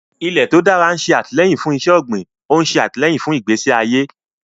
Ilẹ̀ tó dára ń ṣe àtìlẹ́yìn fún iṣẹ́ ọ̀gbìn, ó ń ṣe àtìlẹ́yìn fún ìgbésí ayé.